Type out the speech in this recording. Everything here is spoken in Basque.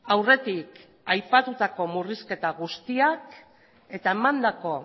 aurretik aipatutako murrizketa guztiak eta emandako